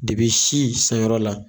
Depi si sanyɔrɔ la